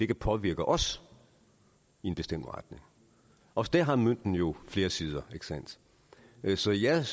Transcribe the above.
kan påvirke os i en bestemt retning også der har mønten jo flere sider så jeg